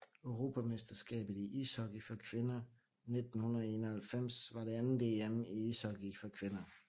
Europamesterskabet i ishockey for kvinder 1991 var det andet EM i ishockey for kvinder